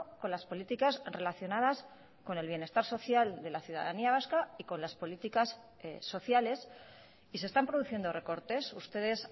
con las políticas relacionadas con el bienestar social de la ciudadanía vasca y con las políticas sociales y se están produciendo recortes ustedes